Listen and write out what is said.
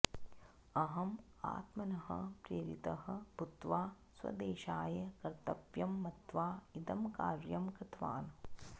अहं आत्मनः प्रेरितः भूत्वा स्वदेशाय कर्त्तव्यं मत्वा इदं कार्यं कृतवान्